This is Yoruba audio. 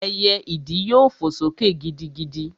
Ẹyẹ ìdí yóò fò sókè gidigidi